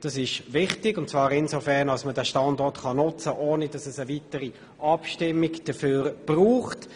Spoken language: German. Dies ist insofern wichtig, als man den Standort nutzen kann, ohne dass es einer weiteren Abstimmung bedarf.